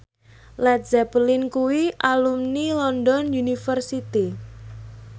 Led Zeppelin kuwi alumni London University